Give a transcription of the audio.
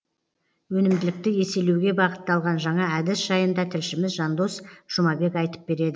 өнімділікті еселеуге бағыттылған жаңа әдіс жайында тілшіміз жандос жұмабек айтып береді